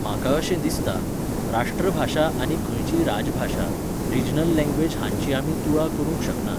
म्हाका अशें दिसता, राष्ट्रभाशा आनी खंयचीय राजभाशा, रिजनल लँग्वेज हांची आमी तुळा करूंक शकनात.